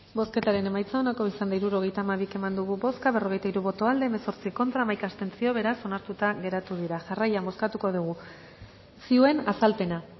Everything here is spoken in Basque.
bozketaren emaitza onako izan da hirurogeita hamabi eman dugu bozka berrogeita hiru boto aldekoa hemezortzi contra hamaika abstentzio beraz onartuta geratu da jarraian bozkatuko dugu zioen azalpena